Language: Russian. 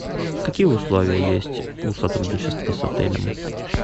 какие условия есть у сотрудничества с отелем